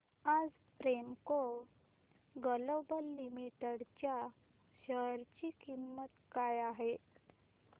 आज Premco global limited च्या share ची किंमत काय आहे